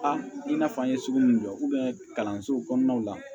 A i n'a fɔ an ye sugu min jɔ kalanso kɔnɔnaw la